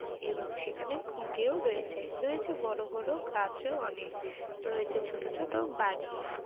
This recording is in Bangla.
এবং সেখানে ঘুঁটেও রয়েছে। রয়েছে বড় বড় গাছও অনেক রয়েছে ছোট ছোট বাড়ি।